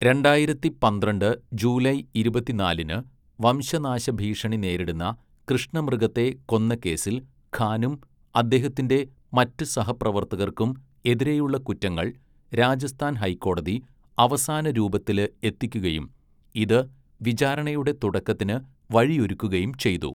രണ്ടായിരത്തി പന്ത്രണ്ട് ജൂലൈ ഇരുപത്തിനാലിന്, വംശനാശഭീഷണി നേരിടുന്ന കൃഷ്ണമൃഗത്തെ കൊന്ന കേസിൽ ഖാനും അദ്ദേഹത്തിന്റെ മറ്റ് സഹപ്രവർത്തകർക്കും എതിരെയുള്ള കുറ്റങ്ങൾ രാജസ്ഥാൻ ഹൈക്കോടതി അവസാനരൂപത്തില് എത്തിക്കുകയും, ഇത് വിചാരണയുടെ തുടക്കത്തിന് വഴിയൊരുക്കുകയും ചെയ്തു.